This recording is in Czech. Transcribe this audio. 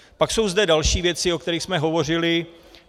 Pak jsou zde další věci, o kterých jsme hovořili.